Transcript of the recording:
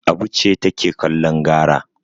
Abu ce take kallon gara.